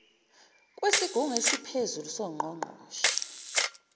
kwesigungu esiphezulu songqongqoshe